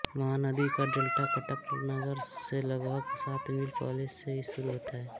महानदी का डेल्टा कटक नगर से लगभग सात मील पहले से शुरू होता है